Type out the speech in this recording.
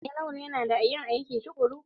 Eh lawal yana da ƴin aiki tukuru.